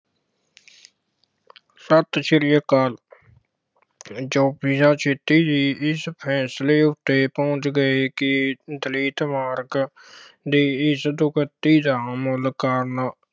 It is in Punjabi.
ਸਤਿ ਸ੍ਰੀ ਅਕਾਲ ਜੋਤੀਬਾ ਛੇਤੀ ਜੀ ਇਸ ਫੈਸਲੇ ਉੱਤੇ ਪਹੁੰਚ ਗਏ ਕਿ ਦਲਿਤ ਵਰਗ ਦੀ ਇਸ ਦੁਰਗਤੀ ਦਾ ਮੂਲ ਕਾਰਨ